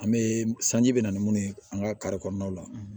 An bɛ sanji bɛ na ni mun ye an ka kari kɔnɔnaw la